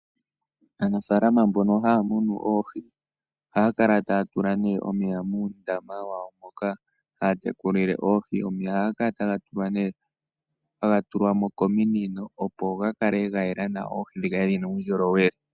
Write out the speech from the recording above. Aanafalama mbono haya munu oohi ohaya kala taya tula omeya muundama wawo mboka haya tekulile oohi. Omeya ohaga kala taga tulwamo kominino, opo ga kale gayela nawa oohi dhikale dhina uundjolowele.